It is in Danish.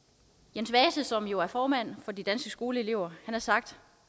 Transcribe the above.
jens vase som jo er formand for danske skoleelever har sagt